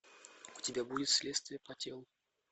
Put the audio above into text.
у тебя будет следствие по телу